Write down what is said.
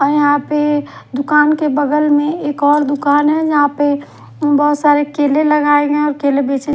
और यहा पे दूकान के बगल में एक और दूकान है जहा पे बहोत सारे केले लगाये गये है और केले बेचे--